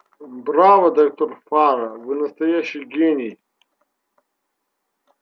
браво доктор фара вы настоящий гений